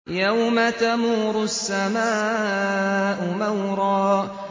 يَوْمَ تَمُورُ السَّمَاءُ مَوْرًا